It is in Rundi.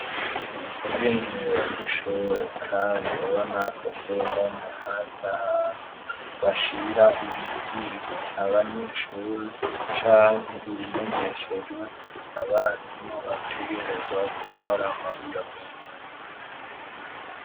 ubwinjiriro bw'ishure kandi ubonako kuruhome hari ahantu bashira ibibwiwe abanyeshuri canke ibimenyeshejwe abarimu bategerezwa gukora muri iyo minsi.